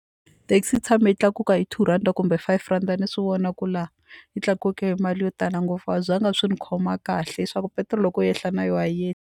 Taxi yi tshame yi tlakuka hi two rhandi kumbe five rhanda ni swi vona ku laha yi tlakuke hi mali yo tala ngopfu a swi zanga swi ni khoma kahle leswaku petiroli loko yi yehla na yona a yi.